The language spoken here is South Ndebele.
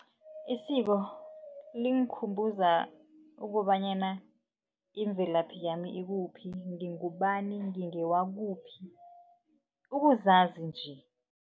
Isiko lingukhumbuza ukobanyana imvelaphi yami ikuphi ngingubani ngingewakuphi ukuzazi nje.